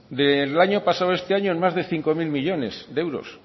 del año pasado a este año en más de cinco mil millónes de euros